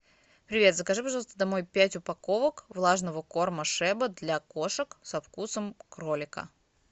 привет закажи пожалуйста домой пять упаковок влажного корма шеба для кошек со вкусом кролика